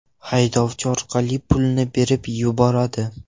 haydovchi orqali pulni berib yuboradi.